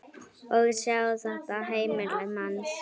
Og sjá þetta heimili manns.